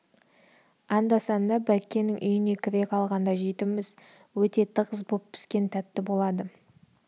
анда-санда бәккенің үйіне кіре қалғанда жейтінбіз өте тығыз боп піскен тәтті болады